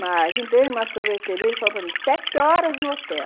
Mas entrei numa sorveteria, ele falou para mim, sete horas no hotel.